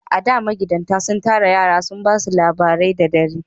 A da, magidatan sun tara yara sun ba su labarai da dare